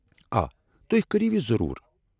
آ، تُہۍ كرِیو یہِ ضروٗر ۔